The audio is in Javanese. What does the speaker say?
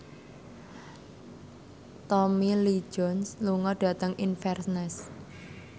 Tommy Lee Jones lunga dhateng Inverness